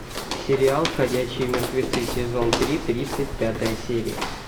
сериал ходячие мертвецы сезон три тридцать пятая серия